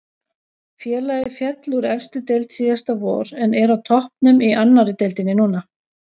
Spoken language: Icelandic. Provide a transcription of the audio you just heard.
Félagið féll úr efstu deild síðasta vor en er á toppnum í annari deildinni núna.